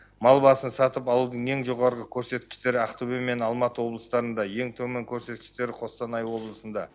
мал басын сатып алудың ең жоғары көрсеткіштері ақтөбе және алматы облыстарында ең төмен көрсеткіштері қостанай облысында